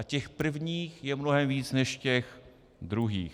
A těch prvních je mnohem víc než těch druhých.